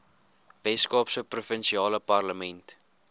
weskaapse provinsiale parlement